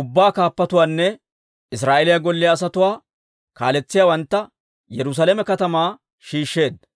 ubbaa kaappatuwaanne Israa'eeliyaa golliyaa asatuwaa kaaletsiyaawantta Yerusaalame katamaa shiishsheedda.